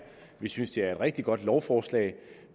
vi synes det er et rigtig godt lovforslag